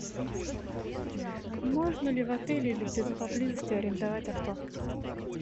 можно ли в отеле или где то поблизости арендовать авто